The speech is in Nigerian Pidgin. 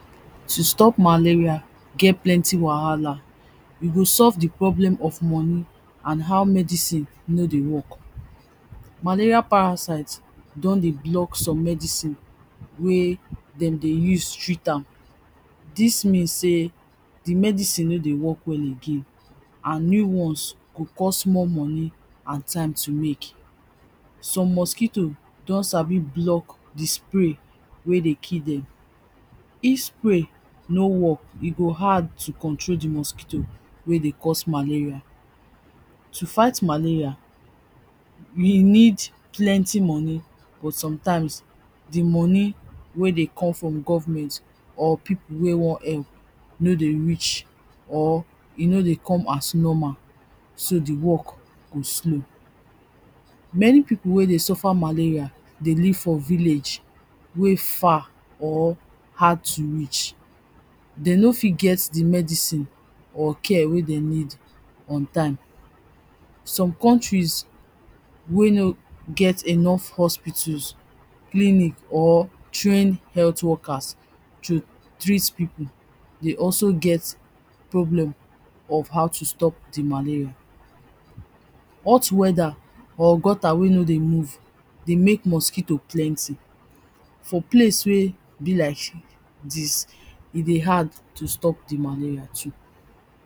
To stop malaria get plenty wahala you go solve the problem of moni an how medicine no dey work malaria parasite don dey block some medicine wey dem dey use treat am dis mean sey the medicine no dey work well again an new ones go cost more money an time to make some mosquito don sabi block di spray wey dey kill dem If spray no work e go hard to control the mosquito wey dey cause malaria to fight malaria we need plenti moni but sometimes di moni wey dey come from government or pipo wey wan help no dey reach or e no dey come as normal so the work go slow many people wey dey suffer malaria dey live for village wey far or hard to reach dey no fit get the medicine or care wey den need on time some countries wey no get enough hospitals clinic or trained health workers to treat people dey also get problem of how to stop di malaria hot weather or gutter wey no dey move dey make mosquito plenti for place wey be like dis e dey hard to stop the malaria too